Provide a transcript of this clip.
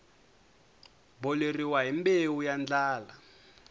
boleriwa hi mbewu ya ndlala